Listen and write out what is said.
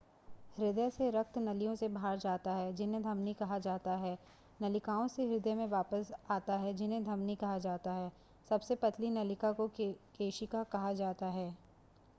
हृदय से रक्त नलियों से बाहर जाता है जिन्हें धमनी कहा जाता है नलिकाओं से हृदय में वापस आाता है जिन्हें धमनी कहा जाता है सबसे पतली नलिका को केशिका कहा जाता है